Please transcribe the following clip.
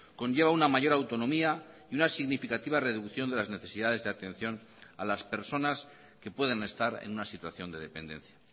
conlleva una mayor autonomía y una significativa reducción de las necesidades de atención a las personas que pueden estar en una situación de dependencia